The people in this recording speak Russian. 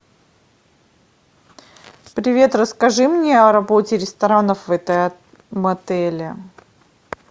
привет расскажи мне о работе ресторанов в этом отеле